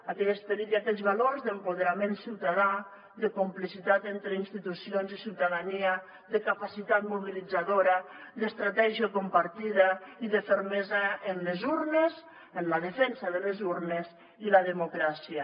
aquell esperit i aquells valors d’empoderament ciutadà de complicitat entre institucions i ciutadania de capacitat mobilitzadora d’estratègia compartida i de fermesa en les urnes en la defensa de les urnes i la democràcia